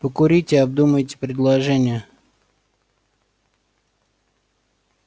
покурите обдумайте предложение